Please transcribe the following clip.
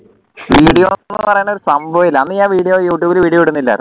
സംഭവമേ ഇല്ല അന്ന് ഞാൻ video youtube video ഇടുന്നില്ലായിരുന്നു